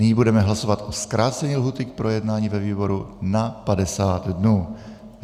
Nyní budeme hlasovat o zkrácení lhůty k projednání ve výboru na 50 dnů.